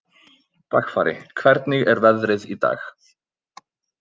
Dagfari, hvernig er veðrið í dag?